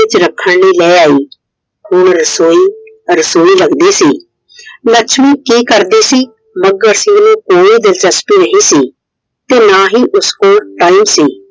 ਚ ਰੱਖਣ ਲਈ ਲੈ ਆਇ। ਹੁਣ रसोईरसोई ਲੱਗਦੀ ਸੀ। ਲੱਛਮੀ ਕੀ ਕਰਦੀ ਸੀ ਮੱਘਰ ਸਿੰਘ ਨੂੰ ਕੋਈ ਦਿਲਚਸਪੀ ਨਹੀਂ ਸੀ। ਤੇ ਨਾ ਹੀ ਉਸ ਕੋਲ Time ਸੀ।